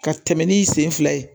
Ka tɛmɛ n'i sen fila ye